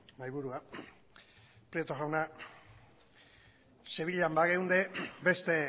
mahaiburua prieto jauna sevillan bageunde beste